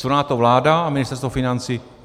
Co na to vláda a Ministerstvo financí?